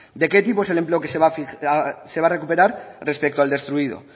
de qué tipo es el empleo que se va a recuperar respecto al destruido